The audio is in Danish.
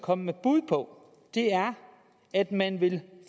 kommet med bud på er at man